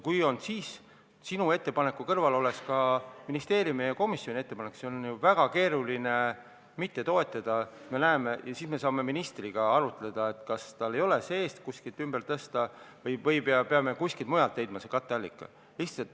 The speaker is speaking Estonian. Kui sinu ettepaneku kõrval oleks ka ministeeriumi ja komisjoni ettepanek, siis oleks väga keeruline mitte toetada ja siis me saaksime ministriga arutada, kas ei ole võimalik ministeeriumi sees midagi ümber tõsta või me peame kuskilt mujalt selle katteallika leidma.